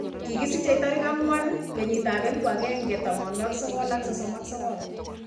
Kikisichei tarik 4 1939